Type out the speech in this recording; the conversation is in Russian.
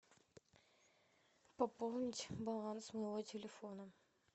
пополнить баланс моего телефона